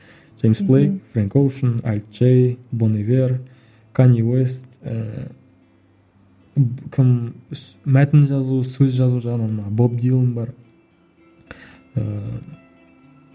джеймс блейк френк оушен альт джей бон ивер канье уэст ііі кім мәтін жазу сөз жазу жағынан мана боб дилан бар ыыы